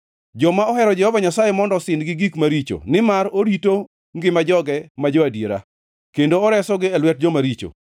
Joma ohero Jehova Nyasaye mondo osin gi gik maricho nimar orito ngima joge ma jo-adiera, kendo oresogi e lwet joma richo.